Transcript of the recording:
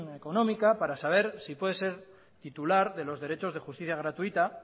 económica para saber si puede ser titular de los derechos de justicia gratuita